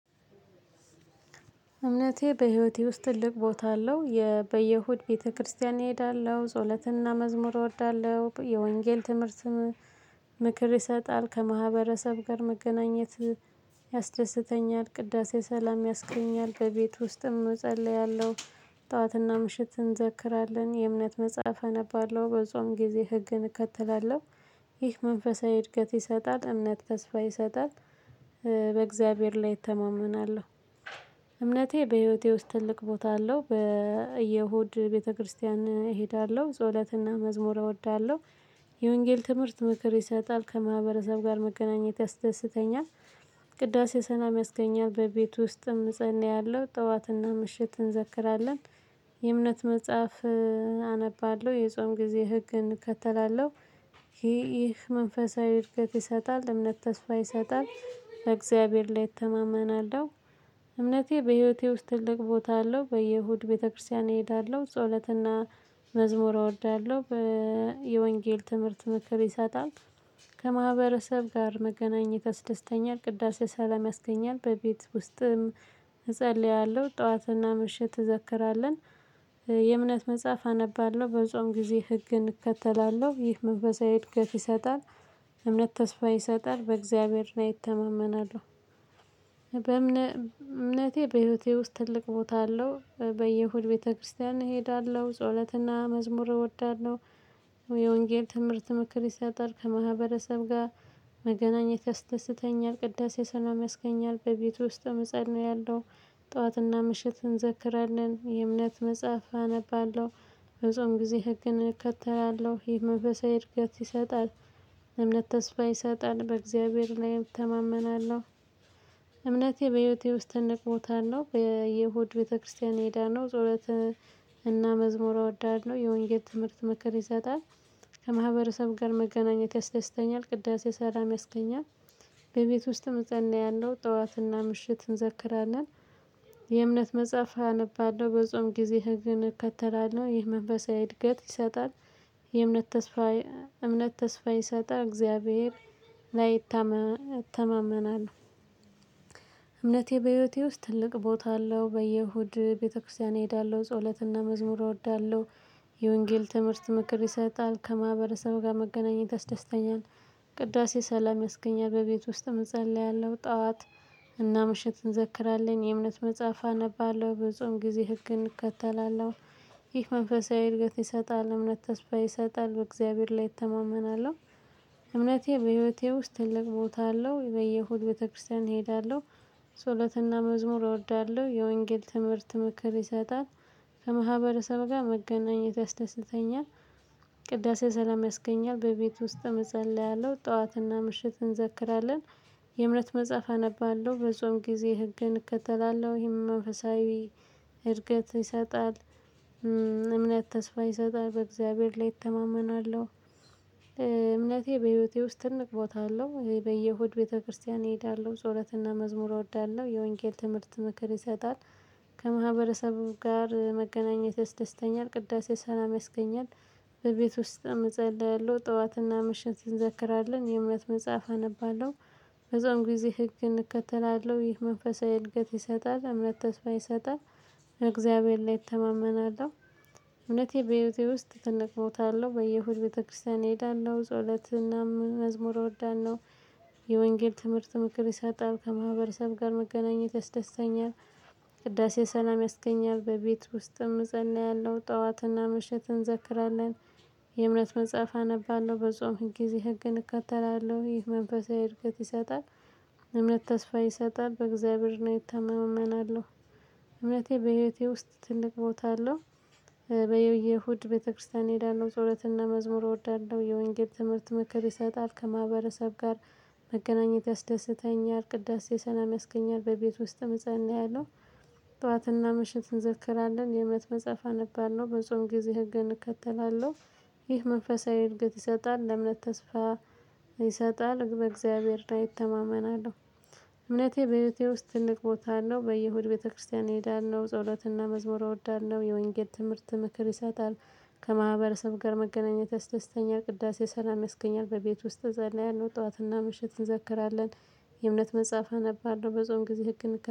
እምነቴ በህይወቴ ውስጥ ትልቅ ቦታ አለው። በየሁድ ቤተክርስቲያን እሄዳለሁ። ጽሁለት እና መዝሙር ወዳለሁ። የወንጌል ትምህርት ምክር ይሰጣል። ከማህበረሰብ ጋር መገናኘት ያስደስተኛል። ቅዳሴ ሰላም ያስገኛል። በቤት ውስጥም እጸልያለሁ። ጠዋት እና ምሽት እንዘክራለን። የእምነት መጻፍ አነባለሁ። ብዙውን ጊዜ ህግን እከተላለሁ። ይህ መንፈሳዊ እድገት ይሰጣል። እምነት ተስፋ ይሰጣል። በእግዚአብሔር ላይ እተማመናለሁ። እምነቴ በህይወቴ ውስጥ ትልቅ ቦታ አለው። በእሁድ ቤተክርስቲያን እሄዳለሁ። ጸሎት እና መዝሙር እወዳለሁ። የወንጌል ትምህርት ምክር ይሰጣል። ከማህበረሰብ ጋር መገናኘት ያስደስተኛል። ቅዳሴ ሰላም ያስገኛል። በቤት ውስጥም እፀልያለሁ። ጠዋት እና ምሽት እንዘክራለን። የእምነት መጻሀፍ አነባለሁ። የጾም ጊዜ ህግን እከተላለሁ። ይህ መንፈሳዊ እድገት ይሰጣል። እምነት ተስፋ ይሰጣል። በእግዚአብሔር ላይ እተማመናለሁ። እምነቴ በህይወቴ ውስጥ ትልቅ ቦታ አለው። በእሁድ ቤተክርስቲያን እሄዳለሁ። ጸሎት እና መዝሙር ወዳለሁ። የወንጌል ትምህርት ምክር ይሰጣል። ከማህበረሰብ ጋር መገናኘት ያስደስተኛል። ቅዳሴ ሰላም ያስገኛል። በቤት ውስጥም እፀልያለሁ። ጠዋት እና ምሽት እንዘክራለን። የእምነት መጻህፍት አነባለሁ። ብፆም ጊዜ ህግን እከተላለሁ። ይህ መንፈሳዊ እድገት ይሰጣል። እምነት ተስፋ ይሰጣል። በእግዚአብሔር ላይ እተማመናለሁ። እምነቴ በህይወቴ ውስጥ ትልቅ ቦታ አለው። በእሁድ ቤተክርስቲያን እሄዳለሁ። ጸሎት እና መዝሙር እወዳለሁ። የወንጌል ትምህርት ምክር ይሰጣል። ከማህበረሰብ ጋር መገናኘት ያስደስተኛል። ቅዳሴ ሰላም ያስገኛል። በቤት ውስጥም እፀልያለሁ። ጠዋት እና ምሽት እንዘክራለን። የእምነት መጻሀፍ አነባለሁ። ብፆም ጊዜ ህግን እከተላለሁ። ይህ መንፈሳዊ እድገት ይሰጣል። እምነት ተስፋ ይሰጣል። በእግዚአብሔር ላይ እተማመናለሁ። እምነቴ በህይወቴ ውስጥ ትልቅ ቦታ አለው። በእሁድ ቤተክርስቲያን እሄዳለሁ። ጸሎት እና መዝሙር እወዳለሁ። የወንጌል ትምህርት ምክር ይሰጣል። ከማህበረሰብ ጋር መገናኝ ያስተስተኛል። ቅዳሴ ሰላም ያስገኛል። በቤት ውስጥም እፀልያለሁ። ጠዋት እና ምሽት እንዘክራለን። የእምነት መጻፍ አነባለሁ። በጾም ጊዜ ህግን እከተላለሁ። ይህ መንፈሳዊ እድገት ይሰጣል። እምነት ተስፋ ይሰጣል። በእግዚአብሔር ላይ እተማመናለሁ። እምነቴ በህይወቴ ውስጥ ትልቅ ቦታ አለው። በየሁድ ቤተክርስቲያን እሄዳለሁ። ጸሎት እና መዝሙር እወዳለሁ። የወንጌል ትምህርት ምክር ይሰጣል። ከማህበረሰብ ጋር መገናኘት ያስደስተኛል። ቅዳሴ ሰላም ያስገኛል። በቤት ውስጥም እፀልያለሁ። ጠዋት እና ምሽት እንዘክራለን። የእምነት መጻፍ አነባለሁ። በጾም ጊዜ ህግን እከተላለሁ። ይህ መንፈሳዊ እድገት ይሰጣል። እምነት ተስፋ ይሰጣል። በእግዚአብሔር ላይ እተማመናለሁ። እምነቴ በህይወቴ ውስጥ ትልቅ ቦታ አለው። በየሁድ ቤተክርስቲያን እሄዳለሁ። ጸሎት እና መዝሙር ወዳለሁ። የወንጌል ትምህርት ምክር ይሰጣል። ከማህበረሰብ ጋር መገናኝ ያስተስተኛል። ቅዳሴ ሰላም ያስገኛል። በቤት ውስጥም እፀያለሁ። ጠዋት እና ምሽት እንዘክራለን። የእምነት መጻፍ አነባለሁ። በጾም ጊዜ ህግን እከተላለሁ። ይህ መንፈሳዊ እድገት ይሰጣል። እምነት ተስፋ ይሰጣል። በእግዚአብሔር ላይ እተማመናለሁ። እምነቴ በህይወቴ ውስጥ ትልቅ ቦታ አለው። በየሁድ ቤተክርስቲያን እሄዳለሁ። ጸሎት እና መዝሙር እወዳለሁ። የወንጌል ትምህርት ምክር ይሰጣል። ከማህበረሰብ ጋር መገናኘት ያስደስተኛል። ቅዳሴ ሰላም ያስገኛል። በቤት ውስጥም እፀያለሁ። ጠዋት እና ምሽት እንዘክራለን። የእምነት መጻፍ አነባለሁ። በጾም ጊዜ ህግን እከተላለሁ። ይህ መንፈሳዊ እድገት ይሰጣል። እምነት ተስፋ ይሰጣል። በእግዚአብሔር ላይ እተማመናለሁ። እምነቴ በህይወቴ ውስጥ ትልቅ ቦታ አለው። በየሁድ ቤተክርስቲያን እሄዳለሁ። ጸሎት እና መዝሙር ወዳለሁ። የወንጌል ትምህርት ምክር ይሰጣል። ከማህበረሰብ ጋር መገናኝ ያስተስተኛል። ቅዳሴ ሰላም ያስገኛል። በቤት ውስጥም እፀያለሁ። ጠዋት እና ምሽት እንዘክራለን። የእምነት መጻፍ አነባለሁ። በጾም ጊዜ ህግን እከተላለሁ። ይህ መንፈሳዊ እድገት ይሰጣል። እምነት ተስፋ ይሰጣል። በእግዚአብሔር ላይ እተማመናለሁ። እምነቴ በህይወቴ ውስጥ ትልቅ ቦታ አለው። በየሁድ ቤተክርስቲያን እሄዳለሁ። ጸሎት እና መዝሙር ወዳለሁ። የወንጌል ትምህርት ምክር ይሰጣል። ከማህበረሰብ ጋር መገናኝ ያስተስተኛል። ቅዳሴ ሰላም ያስገኛል። በቤት ውስጥም ምጸነ እያለሁ። ጠዋት እና ምሽት እንዘክራለን። የእምነት መጻፍ አነባለሁ። ብዙም ጊዜ ህግን እከተላለሁ። ይህ መንፈሳዊ እርግጥ ይሰጣል። እምነት ተስፋ ይሰጣል። በእግዚአብሔር ላይ እተማመናለሁ።